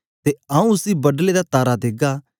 ते आऊँ उसी बडले दा तारा देगा